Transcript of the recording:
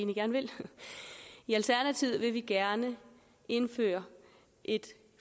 i alternativet vil vi gerne indføre et